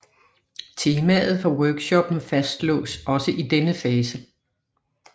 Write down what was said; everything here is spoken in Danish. Temaet for workshoppen fastslås også i denne fase